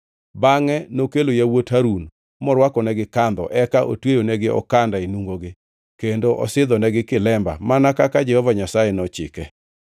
Bangʼe nokelo yawuot Harun morwakonegi kandho, eka otweyonigi okanda e nungogi kendo osidhonegi kilemba mana kaka Jehova Nyasaye nochike.